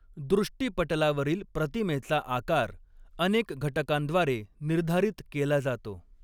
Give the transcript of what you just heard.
दृष्टिपटलावरील प्रतिमेचा आकार अनेक घटकांद्वारे निर्धारित केला जातो.